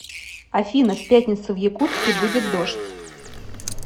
афина в пятницу в якутске будет дождь